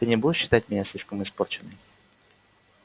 ты не будешь считать меня слишком испорченной